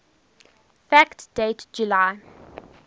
fact date july